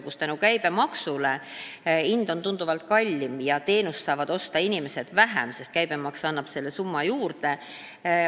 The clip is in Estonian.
Seega on mõne teenuse hind teistest tunduvalt kallim ja inimesed saavad seda vähem osta, sest käibemaks annab sellele summale juurde.